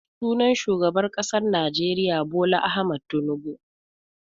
Sunan shugaban ƙasar Najeriya Bola Ahmad Tunubu.